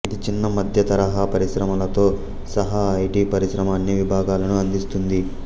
ఇది చిన్న మధ్యతరహా పరిశ్రమలతో సహా ఐటి పరిశ్రమ అన్ని విభాగాలను అందిస్తుంది